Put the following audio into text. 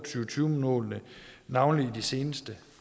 tyve målene navnlig i de seneste